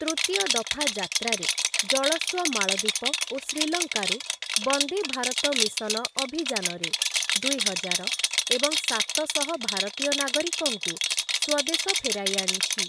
ତୃତୀୟ ଦଫା ଯାତ୍ରାରେ, ଜଳଶ୍ଵ ମାଳଦୀପ ଓ ଶ୍ରୀଲଙ୍କାରୁ ବନ୍ଦେ ଭାରତ ମିଶନ ଅଭିଯାନରେ ଦୁଇହଜାର ଏବଂ ସାତଶହ ଭାରତୀୟ ନାଗରିକଙ୍କୁ ସ୍ଵଦେଶ ଫେରାଇ ଆଣିଛି ।